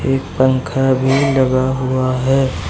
एक पंखा भी लगा हुआ है।